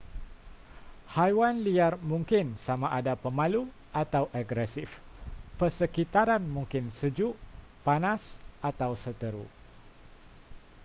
haiwan liar mungkin sama ada pemalu atau agresif persekitaran mungkin sejuk panas atau seteru